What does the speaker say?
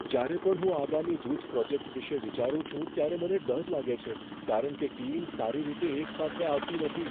જ્યારે પણ હું આગામી જૂથ પ્રોજેક્ટ વિશે વિચારું છું ત્યારે મને ડર લાગે છે કારણ કે ટીમ સારી રીતે એક સાથે આવતી નથી.